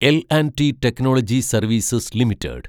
L‍ and T technology services limited